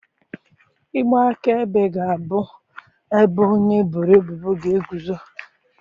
Igbe akaebe ga-abụ ebe onye eboro ebubo ga-eguzo.